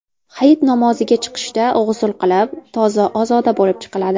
Hayit namoziga chiqishda g‘usl qilib, toza-ozoda bo‘lib chiqiladi.